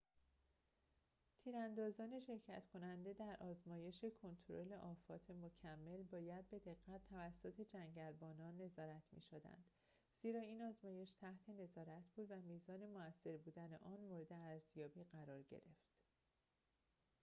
تیراندازان شرکت کننده در آزمایش کنترل آفات مکمل باید به دقت توسط جنگلبانان نظارت می‌شدند زیرا این آزمایش تحت نظارت بود و میزان موثر بودن آن مورد ارزیابی قرار گرفت